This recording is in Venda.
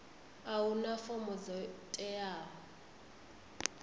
a huna fomo dzo teaho